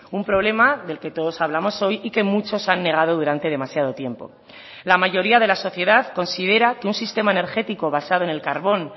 un problema del que todos hablamos hoy y que muchos han negado durante demasiado tiempo la mayoría de la sociedad considera que un sistema energético basado en el carbón